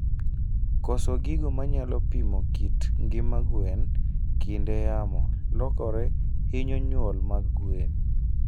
Koso gigo manyalo pimo kit ngima gwen kinde yamo lokore hinyo nyulo mag gwen